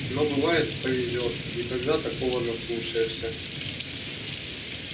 но бывает повезёт и тогда такого наслушаешься